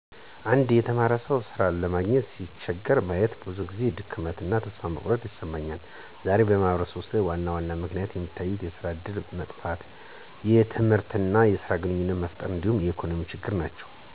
አንድ የተማረ ሰው ሥራ ለማግኘት ሲቸገር ማየት ብዙ ጊዜ ድካም እና ተስፋ መቁረጥ ይሰማኛል። ዛሬ በማህበረሰብ ውስጥ ዋና ምክንያቶች የሚታዩት የስራ እድል መጥፋት፣ የትምህርት እና የስራ ግንኙነት መጥፋት እንዲሁም የኢኮኖሚ ችግሮች ናቸው።